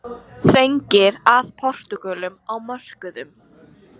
Þrengir að Portúgölum á mörkuðum